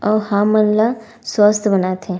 आऊ हमन ला स्वस्थ बनाथे--